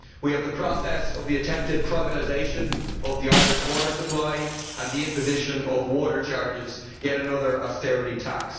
We have the process of the attempted privatisation of the Irish water supply and the imposition of water charges yet another austerity tax.